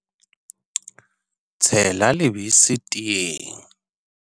Tshela lebese teeng.